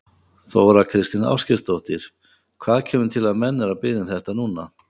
Þóra Kristín Ásgeirsdóttir: Hvað kemur til að menn eru að biðja um þetta núna?